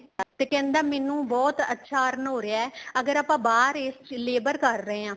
ਤੇ ਕਹਿੰਦਾ ਮੈਨੂੰ ਬਹੁਤ ਅੱਛਾ earn ਹੋ ਰਿਹਾ ਹੈ ਅਗਰ ਬਾਹਰ ਆਪਾਂ labor ਕਰ ਰਹੇ ਹਾਂ